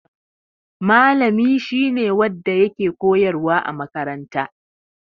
Malami shi ne wanda yake koyarwa a makaranta.